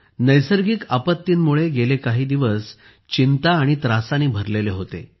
नैसर्गिक आपत्तींमुळे गेले काही दिवस चिंता आणि त्रासाने भरलेले होते